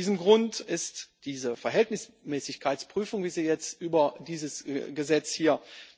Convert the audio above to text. Aus diesem Grund ist diese Verhältnismäßigkeitsprüfung, wie sie jetzt hier über dieses Gesetz